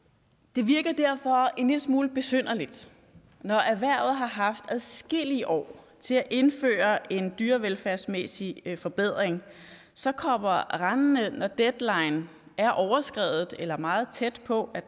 det virker derfor en lille smule besynderligt at erhvervet har haft adskillige år til at indføre en dyrevelfærdsmæssig forbedring så kommer rendende når deadline er overskredet eller er meget tæt på